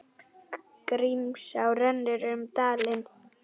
Grímsá rennur um dalinn.